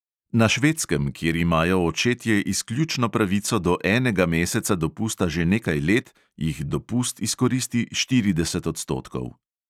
Na švedskem, kjer imajo očetje izključno pravico do enega meseca dopusta že nekaj let, jih dopust izkoristi štirideset odstotkov.